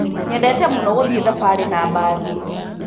Nyendete mũno gũthiĩ thabarĩ na mbathi.